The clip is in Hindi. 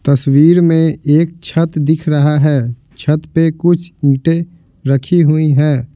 तस्वीर में एक छत दिख रहा है छत पे कुछ ईंटें रखी हुई हैं।